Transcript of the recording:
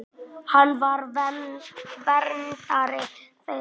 Hann var verndari þeirra.